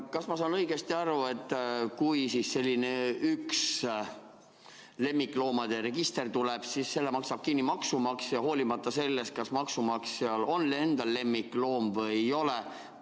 Kas ma saan õigesti aru, et kui selline lemmikloomade register tuleb, siis selle maksab kinni maksumaksja, hoolimata sellest, kas maksumaksjal endal on lemmikloom või ei ole?